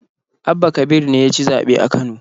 Abba kabir ne ya ci zaɓe a Kano.